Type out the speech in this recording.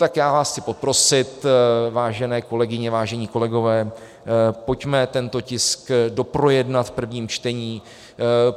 Tak já vás chci poprosit, vážené kolegyně, vážení kolegové, pojďme tento tisk doprojednat v prvním čtení.